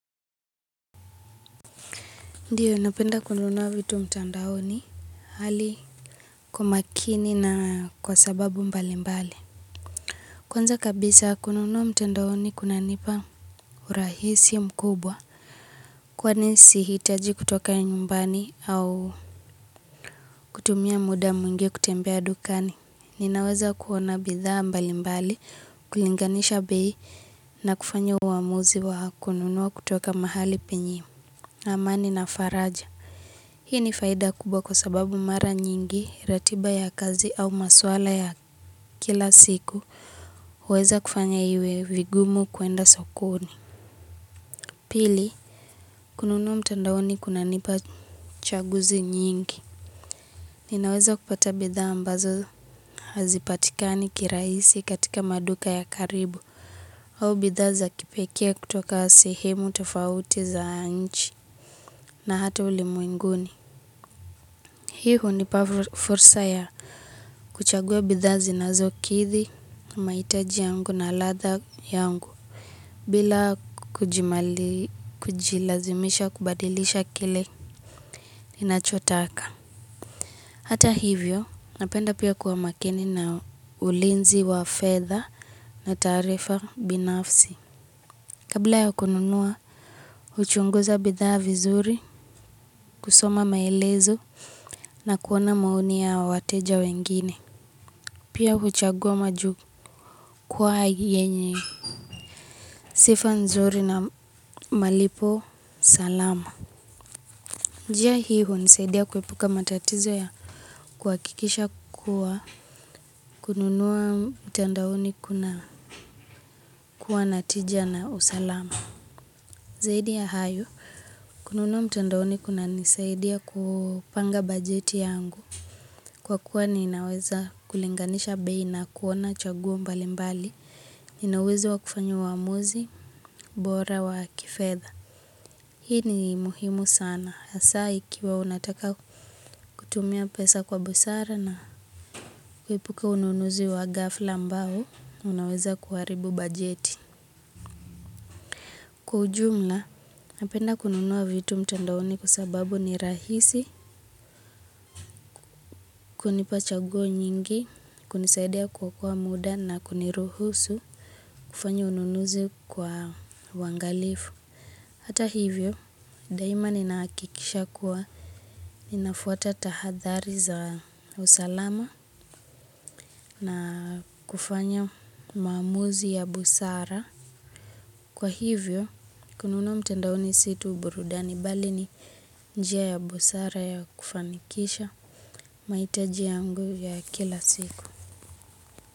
Ndiyo, napenda kununua vitu mtandaoni hali kumakini na kwa sababu mbali mbali. Kwanza kabisa kununua mtandaoni kuna nipa urahisi mkubwa. Kwani sihitaji kutoka nyumbani au kutumia muda mwingi kutembea dukani. Ninaweza kuona bidhaa mbali mbali, kulinganisha bei na kufanya uamuzi wa kununua kutoka mahali penyewe. Na amani na faraja. Hii ni faida kubwa kwa sababu mara nyingi, ratiba ya kazi au maswala ya kila siku, huweza kufanya iwe vigumu kuenda sokoni. Pili, kununua mtandaoni kunanipa chaguzi nyingi. Ninaweza kupata bidhaa ambazo hazipatikani kiraisi katika maduka ya karibu, au bidhaa za kipekee kutoka sehemu tofauti za nchi, na hata ulimwenguni. Hii hunipa fursa ya kuchagua bidhaa zinazo kithi na maitaji yangu na latha yangu bila kujilazimisha kubadilisha kile ninachotaka. Hata hivyo, napenda pia kuwa makini na ulinzi wa fedha na taarifa binafsi. Kabla ya kununua, huchunguza bidhaa vizuri, kusoma maelezo na kuona maoni ya wateja wengine. Pia huchagua maju kwa hiyenye. Sifa nzuri na malipo salama. Njia hii hunisaidia kuepuka matatizo ya kuwakikisha kuwa kununuwa mtandaoni kuna kuwa na tija na usalama. Zaidi ya hayo kununua mtandaoni kuna nisaidia kupanga bajeti yangu. Kwa kuwa niinaweza kulinganisha bei na kuona chaguo mbali mbali. Nina uwezo wa kufanya uamuzi, bora wa kifedha. Hii ni muhimu sana. Asaa ikiwa unataka kutumia pesa kwa busara na kuepuka ununuzi wa gafla ambao. Unaweza kuaribu bajeti. Kwa ujumla, napenda kununua vitu mtandaoni kwa sababu ni rahisi. Hunipa chaguo nyingi, kunisaidia kuokoa muda na kuniruhusu kufanya ununuzi kwa uwangalifu. Hata hivyo daima ninakikisha kuwa ninafuata tahadhari za usalama na kufanya maamuzi ya busara. Kwa hivyo kununua mtandaoni si tu burudani bali ni njia ya busara ya kufanikisha. Maitaji yangu ya kila siku.